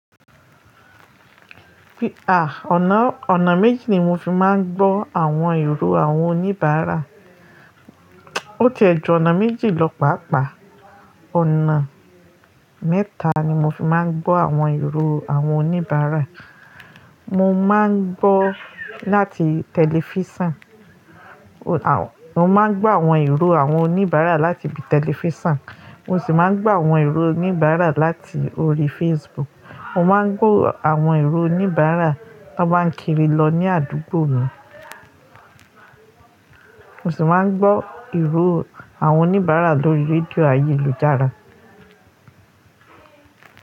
Fi à, ọ̀nà, ọ̀nà méjì ni mo fi máa ń gbọ́ àwọn ìró àwọn oníbàárà oo tí ee ju ọ̀nà méjì lọ pàápàá. Ọ̀nà mẹ́ta ni mo fi máa ń gbọ́ àwọn ìró àwọn oníbàárà. Mo máa ń gbọ́ láti tẹlifísàn, mo máa ń gbọ́ àwọn ìró àwọn oníbàárà láti ibi tẹlifísàn, mo sì máa ń gbọ́ àwọn ìró oníbàárà láti orí Facebook. Mo máa ń gbọ̀ àwọn ìró oníbàárà tó báa ń kiri lọ ní àdúgbò mi. Mo sì máa ń gbọ́ ìró àwọn oníbàárà lórí rédíò ayélujára.